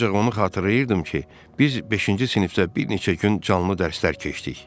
Ancaq onu xatırlayırdım ki, biz beşinci sinifdə bir neçə gün canlı dərslər keçdik.